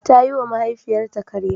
Ta yiwa mahaifiyarta karya.